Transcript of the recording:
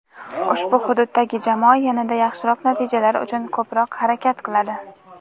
ushbu hududdagi jamoa yanada yaxshiroq natijalar uchun ko‘proq harakat qiladi.